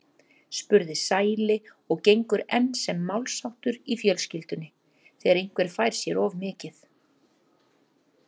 spurði Sæli og gengur enn sem málsháttur í fjölskyldunni þegar einhver fær sér of mikið.